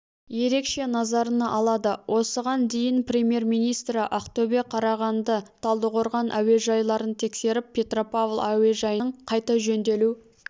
ерекше назарына алады осыған дейін премьер-министрі ақтөбе қарағанды талдықорған әуежайларын тексеріп петропавл әуежайының қайта жөнделу